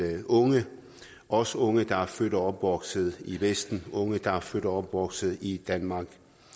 unge også unge der er født og opvokset i vesten unge der er født og opvokset i danmark